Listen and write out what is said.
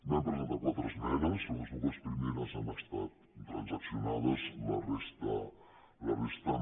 vam presentar quatre esmenes les dues primeres han estat transaccionades la resta no